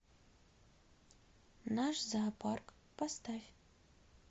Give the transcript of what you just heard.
наш зоопарк поставь